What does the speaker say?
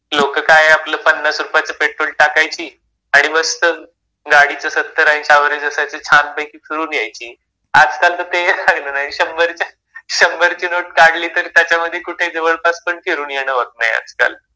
लोकं काय आपलं पन्नास रुपयाचं पेट्रोल टाकायची. आणि मस्त गाडीचं सत्तर-ऐंशी ऍव्हरेज असायचं छान पैकी फिरून यायची. आजकाल तर ते ही राहिलं नाहीये. शंभरच्या, शंभरची नोट काढली तरी त्याच्यामध्ये कुठे जवळपास पण फिरून येणं होत नाहीये आजकाल.